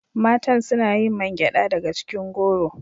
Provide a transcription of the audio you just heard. Matan suna yin man gyada daga cikin goro